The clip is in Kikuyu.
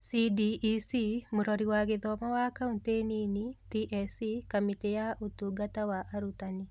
(SDEC) Mũrori wa Gĩthomo wa Kauntĩ nini (TSC) Kamĩtĩ ya Ũtungata wa Arutani